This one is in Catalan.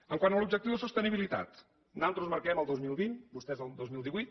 quant a l’objectiu de sostenibilitat nosaltres marquem el dos mil vint vostès el dos mil divuit